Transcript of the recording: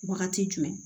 Wagati jumɛn